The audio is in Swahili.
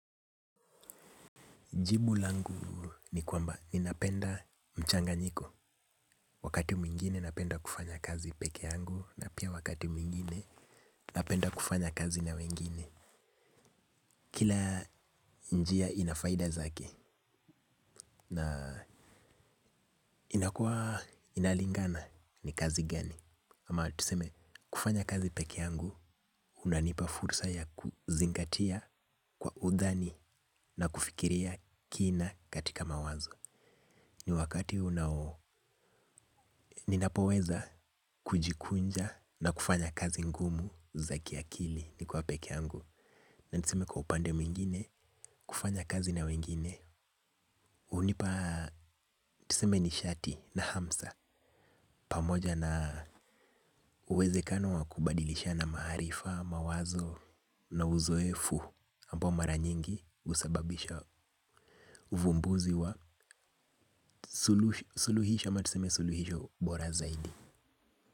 Jibu langu ni kwamba ninapenda mchanganyiko. Wakati mwingine napenda kufanya kazi peke yangu. Na pia wakati mwingine napenda kufanya kazi na wengine. Kila njia inafaida zake. Na inakuwa inalingana ni kazi gani. Ama tuseme kufanya kazi peke yangu unanipa fursa ya kuzingatia kwa udhani na kufikiria kina katika mawazo. Ni wakati unao, ninapoweza kujikunja na kufanya kazi ngumu za kiakili nikiwa peke yangu na niseme kwa upande mwingine, kufanya kazi na wengine hunipa, tuseme nishati na hamsa pamoja na uwezekano wa kubadilishana maarifa, mawazo na uzoefu ambao mara nyingi husababisha uvumbuzi wa suluhisho ama tuseme suluhisho bora zaidi.